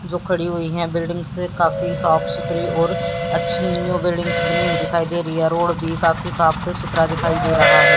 जो खड़ी हुई हैं बिल्डिंग्स काफी साफ सुथरी और अच्छी यो बिल्डिंग बनी हुई दिखाई दे रही है रोड भी काफी साफ सुथरा दिखाई दे रहा है।